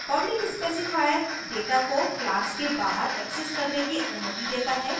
public specifier data को class के बाहर accessed करने की अनुमति data है